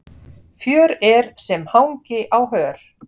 Fjör er sem hangi á hör.